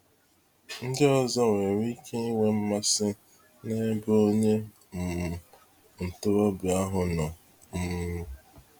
Ndị ọzọ nwere ike ịnwe mmasị n'ebe onye um ntorobịa ahụ nọ. um